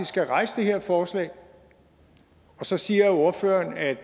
skal rejse det her forslag så siger ordføreren at